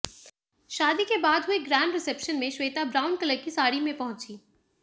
शादी के बाद हुए ग्रैंड रिसेप्शन में श्वेता ब्राउन कलर की साड़ी में पहुंचीं